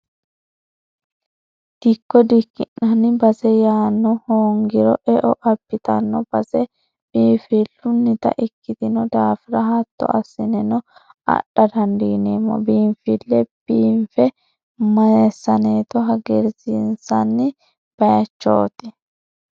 Dikko dikki'nanni base yaano hoongiro eo abbittano base biifilunitta ikkitino daafira hatto assineno adha dandiineemmo biinfile biinfe messaneto hagiirsiisanni bayichoti